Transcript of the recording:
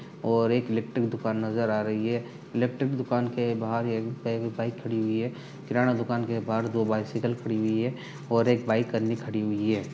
और एक लिप्टिन दुकान नजर आ रही हे लिप्टिन दुकान के बाहर एक बाइक खड़ी हुई हे किराना दुकान के बाहर दो बाइसिकल खड़ी हुई है और एक बाइक अंदर खड़ी हुई है।